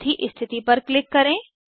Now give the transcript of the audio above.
चौथी स्थिति पर क्लिक करें